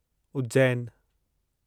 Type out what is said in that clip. उज्जैनु